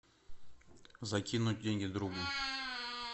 закинуть деньги другу